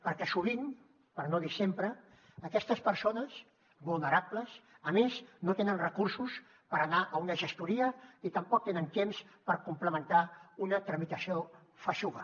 perquè sovint per no dir sempre aquestes persones vulnerables a més no tenen recursos per anar a una gestoria ni tampoc tenen temps per complementar una tramitació feixuga